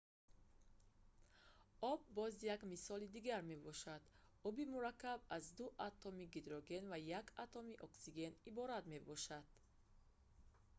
об боз як мисоли дигар мебошад оби мураккаб аз ду атоми гидроген ва як атоми оксиген иборат мебошад